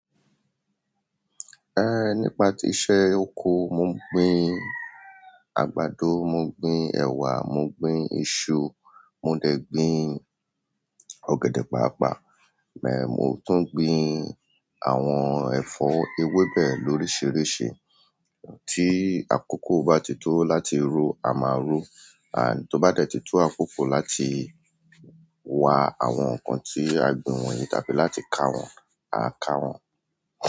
Nípa ti iṣẹ́ oko, mo gbin àgbàdo, mo gbin ẹwà, mo gbin iṣu, mo dẹ̀ gbin ọ̀gẹ̀dẹ̀ pápà, ìgbà yen mo tún gbin àwọn ẹ̀fọ́ ewé bẹ̀ lóríṣiríṣi. Tí àkókò bá ti tó láti ró, a máa ró, and tó bá ti tó àkókò láti wá àwọn nǹkan tí a gbìn wọ̀nyí tàbí láti ká wọ̀n, a ká wọ̀n.